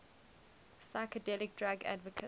psychedelic drug advocates